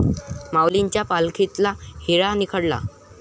माऊलींच्या पालखीतला 'हिरा' निखळला!